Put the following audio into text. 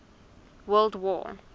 world war